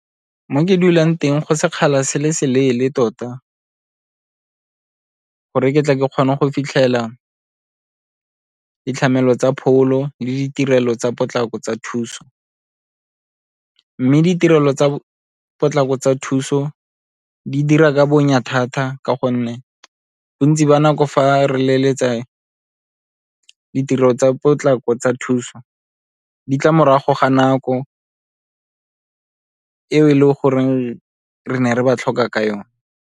Mo ke dulang teng go sekgala se se leele tota gore ke tle ke kgone go fitlhela tsa pholo le ditirelo tsa potlako tsa thuso, mme ditirelo tsa potlako tsa thuso di dira ka bonya thata ka gonne bontsi ba nako fa re leletsa ditirelo tsa potlako tsa thuso di tla morago ga nako eo e leng goreng re ne re ba tlhoka ka yone.